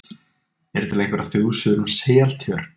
Eru til einhverjar þjóðsögur um Seltjörn?